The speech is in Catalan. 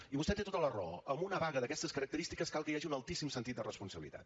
i vostè té tota la raó amb una vaga d’aquestes característiques cal que hi hagi un altíssim sentit de responsabilitat